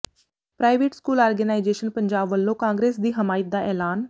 private school organisation Punjab ਵੱਲੋਂ ਕਾਂਗਰਸ ਦੀ ਹਮਾਇਤ ਦਾ ਐਲਾਨ